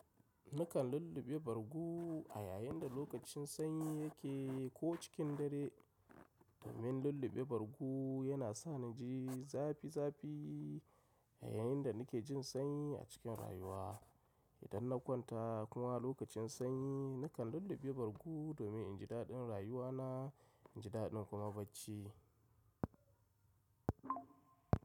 Nakan lulluɓe bargo a yayin da lokacin sanyi yake ko cikin dare. Domin lulluɓe bargu yana sani jin zafi zafi a yayin da nake jin sanyi a cikin rayuwa. Idan na kwanta kuma lokacin sanyi nakan lulluɓe bargo domin in ji daɗin rayuwana, in ji daɗin kuma bacci.